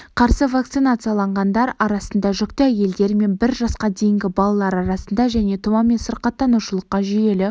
қарсы вакцинацияланғандар арасында жүкті әйелдер мен бір жасқа дейінгі балалар арасында және тұмаумен сырқаттанушылыққа жүйелі